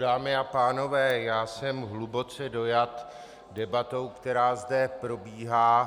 Dámy a pánové, já jsem hluboce dojat debatou, která zde probíhá,